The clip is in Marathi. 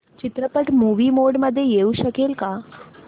चित्रपट मूवी मोड मध्ये येऊ शकेल का